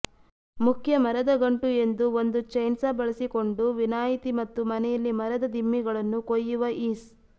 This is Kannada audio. ಮುಖ್ಯ ಮರದ ಗಂಟು ಎಂದು ಒಂದು ಚೈನ್ಸಾ ಬಳಸಿಕೊಂಡು ವಿನಾಯಿತಿ ಮತ್ತು ಮನೆಯಲ್ಲಿ ಮರದ ದಿಮ್ಮಿಗಳನ್ನು ಕೊಯ್ಯುವ ಈಸ್